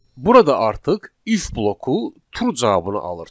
Burada artıq if bloku true cavabını alır.